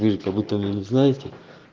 как будто вы не знаете